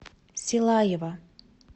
силаева